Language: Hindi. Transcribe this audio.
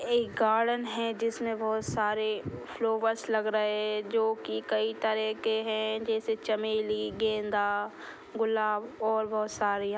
एक गार्डन है जिसमें बहोत सारे फ्लावर्स लग रहे है जो की कईं तरह के है। जैसे चमेली गेंदा गुलाब और बहोत सारे या --